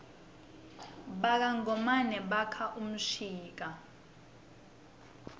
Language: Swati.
baka ngomane baka mshika